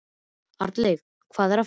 Arnleif, hvað er að frétta?